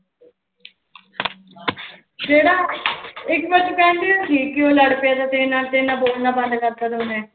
ਕਿਹੜਾ ਇੱਕ ਵਾਰ ਕਹਿੰਦੇ ਕਿਉਂ ਲੜ ਪਿਆ ਸੀ ਤੇਰੇ ਨਾਲ ਤੇਰੇ ਨਾ ਬੋਲਣਾ ਬੰਦ ਕਰ ਦਿੱਤਾ ਸੀ ਉਹਨੇ।